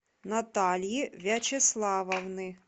натальи вячеславовны